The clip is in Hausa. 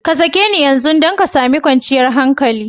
Ka sake ni yanzu don ka sami kwanciyar hankali!